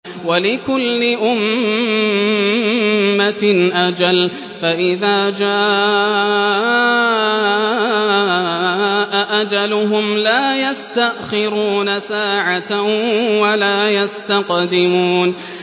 وَلِكُلِّ أُمَّةٍ أَجَلٌ ۖ فَإِذَا جَاءَ أَجَلُهُمْ لَا يَسْتَأْخِرُونَ سَاعَةً ۖ وَلَا يَسْتَقْدِمُونَ